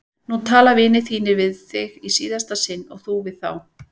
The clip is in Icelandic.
Nú tala vinir þínir við þig í síðasta sinn og þú við þá!